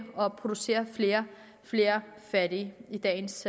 producere flere og flere fattige i dagens